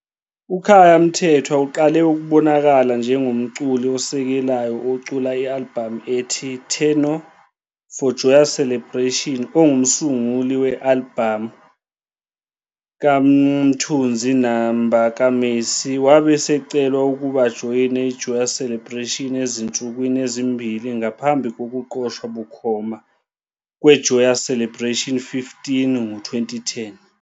UKhaya Mthethwa uqale ukubonakala njengomculi osekelayo ocula i-albhamu ethi Tenor for Joyous Celebration ongumsunguli we-albhamu "kaMthunzi Namba kaMercy." Wabe esecelwa ukuba ajoyine iJoyous Celebration ezinsukwini ezimbili ngaphambi kokuqoshwa bukhoma "kweJoyous Celebration 15" ngo-2010.